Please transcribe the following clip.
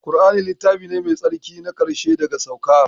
Ƙur'ani ne littafi mai tsarki na ƙarshe daga saukar